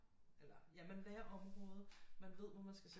Eller ja man lærer området man ved hvor man skal sætte